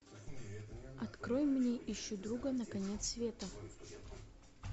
открой мне ищу друга на конец света